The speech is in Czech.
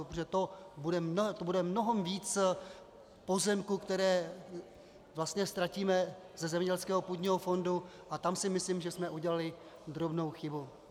Protože to bude mnohem víc pozemků, které vlastně ztratíme ze zemědělského půdního fondu, a tam si myslím, že jsme udělali drobnou chybu.